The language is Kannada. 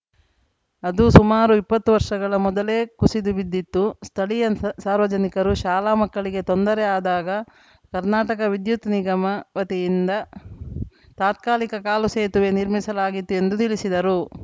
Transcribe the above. ಅದು ಸುಮಾರು ಇಪ್ಪತ್ತು ವರ್ಷಗಳ ಮೊದಲೇ ಕುಸಿದು ಬಿದ್ದಿತ್ತು ಸ್ಥಳೀಯ ಸಾರ್ ಸಾರ್ವಜನಿಕರು ಶಾಲಾ ಮಕ್ಕಳಿಗೆ ತೊಂದರೆ ಆದಾಗ ಕರ್ನಾಟಕ ವಿದ್ಯುತ್‌ ನಿಗಮ ವತಿಯಿಂದ ತಾತ್ಕಾಲಿಕ ಕಾಲು ಸೇತುವೆ ನಿರ್ಮಿಸಲಾಗಿತ್ತು ಎಂದು ತಿಳಿಸಿದರು